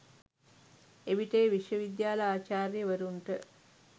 එවිට එය විශ්වවිද්‍යාල ආචාර්යවරුන්ට